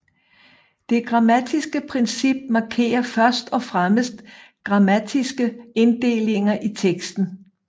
Det grammatiske princip markerer først og fremmest grammatiske inddelinger i teksten